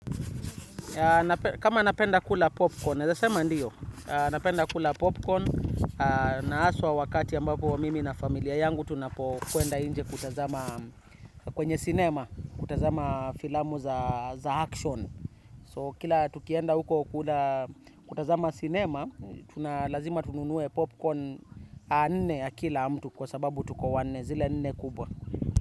Kama napenda kula popcorn, napenda kula popcorn na aswa wakati ambapo wa mimi na familia yangu tunapokuenda inje kutazama kwenye cinema, kutazama filamu za action. So kila tukienda huko kutazama cinema, tunalazima tununue popcorn a nne ya kila mtu kwa sababu tuko wane zile nne kubwa.